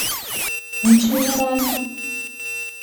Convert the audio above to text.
Nič mineralne?